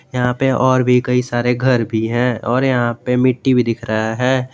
यहां पे और भी कई सारे घर भी हैं और यहां पे मिट्टी भी दिख रहा है।